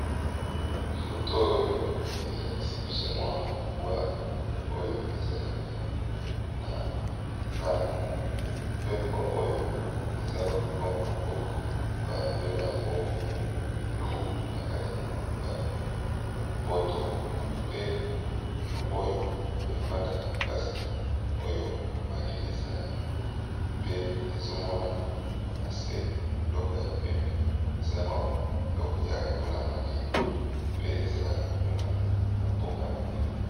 Photo oyo elakisi biso mua mbwa ya zamba, babengi na lopoto loup